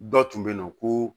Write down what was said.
Dɔ tun bɛ yen nɔ ko